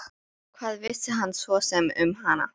Hvað vissi hann svo sem um hana?